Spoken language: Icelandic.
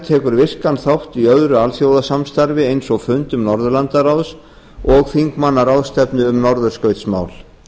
tekur virkan þátt í öðru alþjóðasamstarfi eins og fundum norðurlandaráðs og þingmannaráðstefnu um norðurskautsmál